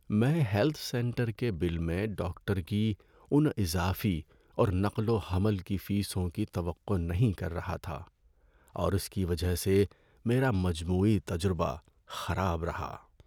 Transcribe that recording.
میں health centre کے bill میں ڈاکٹر کی ان اضافی اور نقل و حمل کی فیسوں کی توقع نہیں کر رہا تھا اور اس کی وجہ سے میرا مجموعی تجربہ خراب رہا۔